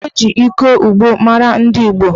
Mgbe gboo, eji ịkọ ugbo mara ndị Igbo.